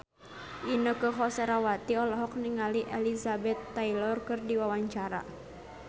Inneke Koesherawati olohok ningali Elizabeth Taylor keur diwawancara